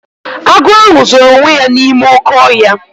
Agụ ahụ zoro onwe ya n'ime oké ọhịa.